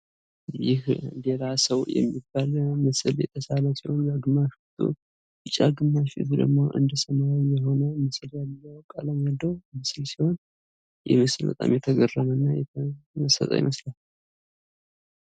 ይህ ሌላ ሰው የሚባል ምስል የተሳለ ሲሆን ግማሽ ጎኑ ቢጫ ግማሽ ጎኑ እንደ ሰማያዊ የሆነ ምስል ሲሆን ይሄ ምስል በጣም የተገረመና የተመሰጠ ይመስላል።